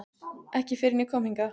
Ekki fyrr en ég kom hingað.